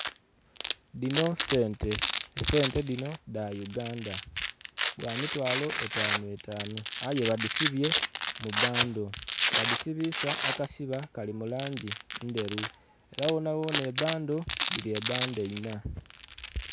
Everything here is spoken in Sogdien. Dhino sente, esente dhino dha Uganda bwa mitwalo etanu etanu aye badhisibye mu bando. Badhisibisa akasiba kali mu langi ndheru era ghona ghona ebando dhiri ebando inha.